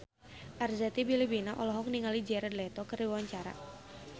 Arzetti Bilbina olohok ningali Jared Leto keur diwawancara